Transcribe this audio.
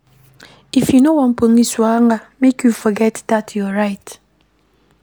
If you no wan police wahala, make you forget dat your right.